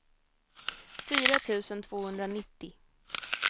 fyra tusen tvåhundranittio